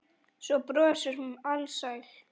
Svo brosir hún alsæl.